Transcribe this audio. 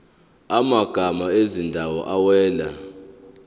amagama ezindawo awela